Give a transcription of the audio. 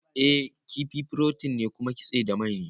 I, kifi furotin ne kuma kitse da mai ne